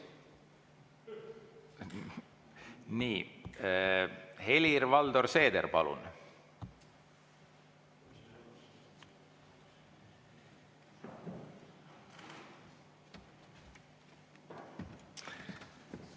Helir-Valdor Seeder, palun!